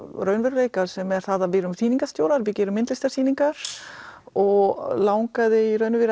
raunveruleika sem er það að við erum sýningarstjórar við gerum myndlistarsýningar og langaði